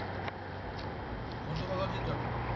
কোনটো কলেজত যাবা?